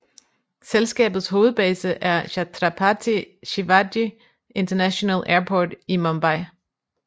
Selskabets hovedbase er Chhatrapati Shivaji International Airport i Mumbai